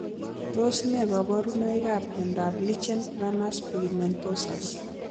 Tos ne kaborunoikap miondop lichen planus pigmentosus